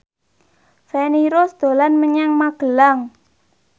Feni Rose dolan menyang Magelang